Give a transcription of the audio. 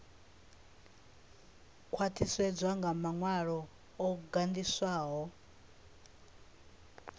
khwaṱhisedzwa nga maṅwalo o gandiswaho